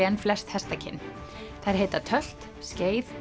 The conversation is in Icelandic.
en flest hestakyn þær heita tölt skeið